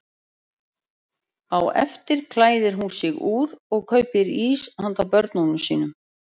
Á eftir klæðir hún sig úr og kaupir ís handa börnunum sínum.